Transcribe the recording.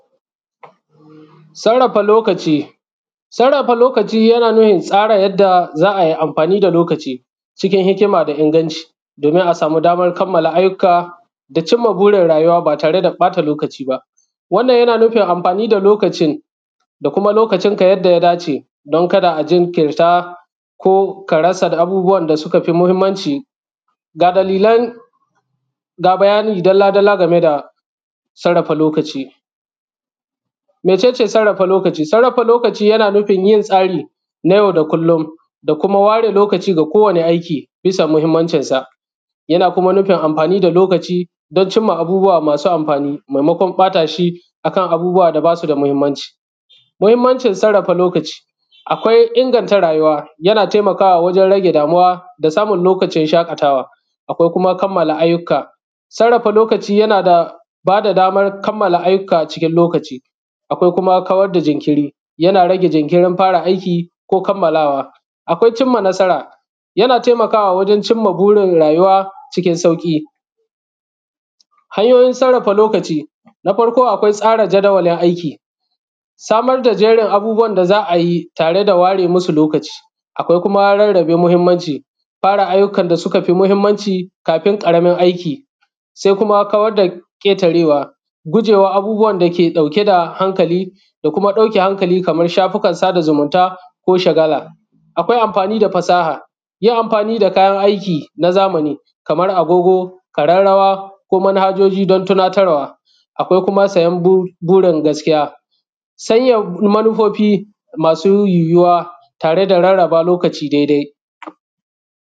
Sarrafa lokaci. Sarrafa lokaci yana nufin tsara yadda za a yi amfani da lokaci cikin hikima da inganci domin a sami damar kammala ayyuka da cinma burin rayuwa ba tare da ɓata lokaci ba. Wannan yana nufin amfani da lokacin da kuma lokacinka yadda ya dace don kada a jinkirta ko ka rasa abubuwan da suka fi mahimmanci. Ga bayani dalla-dalla game da sarrafa lokaci. Mece ce sarrafa lokaci? Sarrafa lokaci yana nufin yin tsari na yau da kullum da kuma ware lokaci ga kowane aiki bisa muhimmancinsa, yana kuma nufin amfani da lokaci don cinma abubuwa masu amfani maimakon ɓata shi akan abubuwa da ba su da mahimmanci, mahimmancin sarrafa lokaci, akwai inganta rayuwa yana taimakawa wajen rage damuwa da samun lokacin shakatawa ko kuma kammala ayyuka, sarrafa lokaci yana bada daman kammala ayyuka cikin lokaci. Akwai kuma kawar da jinkiri, yana rage jinkiri, yana rage jinkirin fara aiki ko kammalawa, akwai cinma nasara yana taimakawa wajen cinma burin rayuwa cikin sauƙi. Hanyoyin sarrafa lokaci: tsara jadawalin aiki, samar da jerin abubuwan da za a yi tare da ware masu lokaci, akwai kuma rarrabe muhimmanci, fara ayyukan da suka fi mahimmanci kafi karamin aiki, sai kuma kawar da ketarewa, gujewa abubuwan dake ɗauke hankali kamar shafukan sadazumunta ko shagala, akwai amfani da fasaha, yin amfani da kayan aiki na zamani, kamar agogo, ƙararrwa, ko manhajoji don tunatarwa, akwai kuma sayan burin gaskiya, sanya manufofi masu yiwuya tare da rarraba lokaci dai-dai.